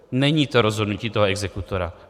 Není to rozhodnutí toho exekutora.